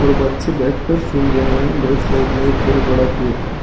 और बच्चे बैठकर सुन रहे हैं। लेफ्ट साइड में एक बहोत बड़ा गेट है।